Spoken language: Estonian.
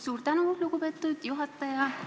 Suur tänu, lugupeetud juhataja!